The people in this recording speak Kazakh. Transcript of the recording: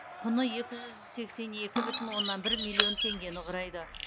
құны екі жүз сексен екі бүтін оннан бір миллион теңгені құрайды